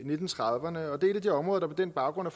nitten trediverne og det er et af de områder der på den baggrund har